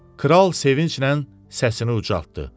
Kral sevinclə səsini ucaltdı.